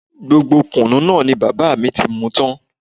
Gbogbo kùnú náà ni bàbá mi ti mú tan